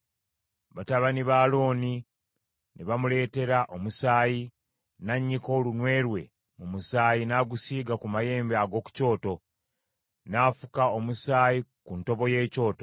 Batabani ba Alooni ne bamuleetera omusaayi, n’annyika olunwe lwe mu musaayi n’agusiiga ku mayembe ag’oku kyoto, n’afuka omusaayi ku ntobo y’ekyoto.